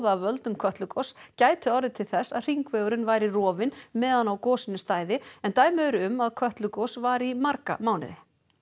af völdum Kötlugoss gæti orðið til þess að hringvegurinn væri rofinn meðan á gosinu stæði en dæmi eru um að Kötlugos vari í marga mánuði